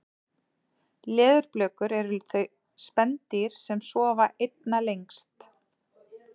leðurblökur eru þau spendýr sem sofa einna lengst